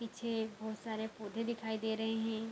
पीछे बहुत सारे पौधे दिखाई दे रहे हैं।